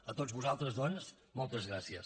a tots vosaltres doncs moltes gràcies